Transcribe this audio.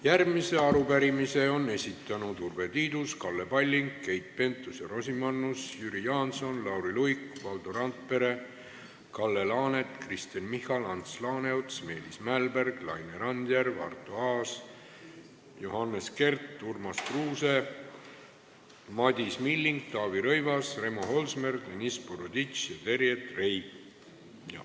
Järgmise arupärimise on esitanud Urve Tiidus, Kalle Palling, Keit Pentus-Rosimannus, Jüri Jaanson, Lauri Luik, Valdo Randpere, Kalle Laanet, Kristen Michal, Ants Laaneots, Meelis Mälberg, Laine Randjärv, Arto Aas, Johannes Kert, Urmas Kruuse, Madis Milling, Taavi Rõivas, Remo Holsmer, Deniss Boroditš ja Terje Trei.